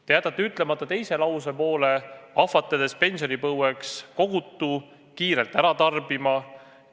Ent te jätate ütlemata teise lausepoole: ahvatledes pensionipõlveks kogutut kiirelt ära tarbima.